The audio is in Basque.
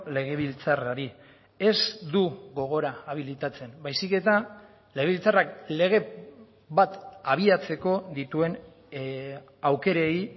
legebiltzarrari ez du gogora abilitatzen baizik eta legebiltzarrak lege bat abiatzeko dituen aukerei